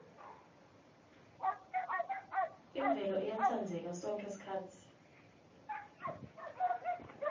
imvelo iyatsandzeka sonkhe sikhatsi